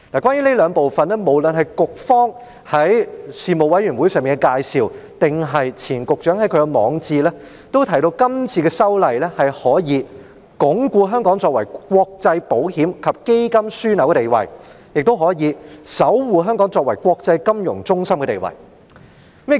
關於這兩部分，無論是局方在事務委員會上的介紹，或是前局長在其網誌上的撰文，均提到今次的修例可以鞏固香港作為國際保險及基金樞紐的地位，亦可以守護香港作為國際金融中心的地位。